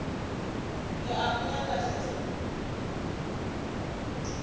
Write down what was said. ke a mo nyaka hle